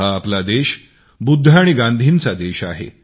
हा आपला देश बुद्ध आणि गांधींचा देश आहे